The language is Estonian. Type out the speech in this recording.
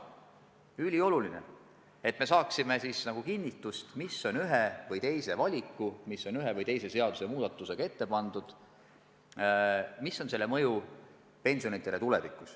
See on ülioluline, et me saaksime kinnitust, mis on ühe või teise valikuga, ühe või teise seadusmuudatusega ette pandud ja kuidas see mõjub tuleviku pensionitele.